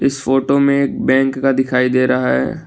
इस फोटो में एक बैंक का दिखाई दे रहा है।